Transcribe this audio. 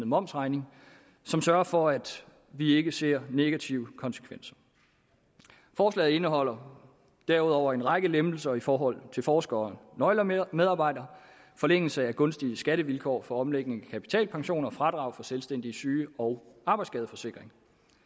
momsafregning som sørger for at vi ikke ser negative konsekvenser forslaget indeholder derudover en række lempelser i forhold til forskere og nøglemedarbejdere forlængelse af gunstige skattevilkår for omlægning af kapitalpensioner fradrag for selvstændiges syge og arbejdsskadeforsikring